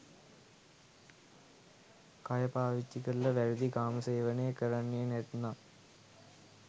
කය පාවිච්චි කරලා වැරදි කාම සේවනය කරන්නේ නැත්නම්